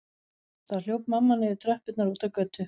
Þá hljóp mamma niður tröppurnar og út á götu.